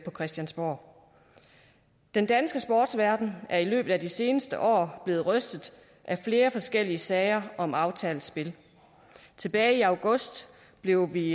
på christiansborg den danske sportsverden er i løbet af de seneste år blevet rystet af flere forskellige sager om aftalt spil tilbage i august blev vi